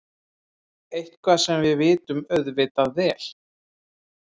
Eitthvað sem við vitum auðvitað vel.